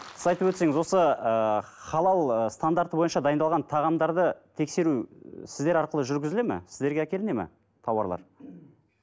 сіз айтып өтсеңіз осы ы халал ы стандарты бойынша дайындалған тағамдарды тексеру сіздер арқылы жүргізіледі ме сіздерге әкелінеді ме тауарлар